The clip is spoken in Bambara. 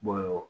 Bɔn